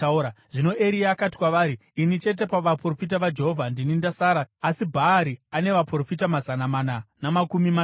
Zvino Eria akati kwavari, “Ini chete pavaprofita vaJehovha ndini ndasara, asi Bhaari ane vaprofita mazana mana namakumi mashanu.